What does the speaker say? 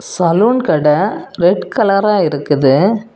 Salon கட red கலரா இருக்குது.